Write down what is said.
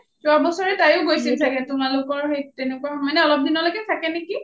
যোৱা বছৰ তাইও গৈছিল চাগে তোমালোকৰ সেই তেনেকুৱা মানে অলপ দিনলৈ থাকে নেকি